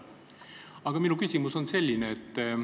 Aga minu küsimus on selline.